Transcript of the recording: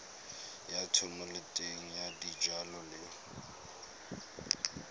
ya thomeloteng ya dijalo le